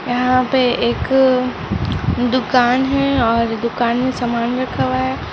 यहाँ पे एक-- दुकान है और दुकान में समान रखा हुआ है।